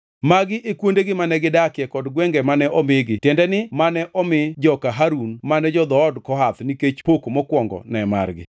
Magi e kuondegi mane gidakie kod gwenge mane omigi (tiende ni, mane omi joka Harun mane jo-dhood Kohath nikech pok mokwongo ne margi).